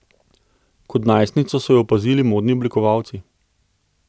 Kot najstnico so jo opazili modni oblikovalci.